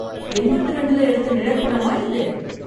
எண்பத்து இரண்டுல எடுத்த நிழற்படமா இது?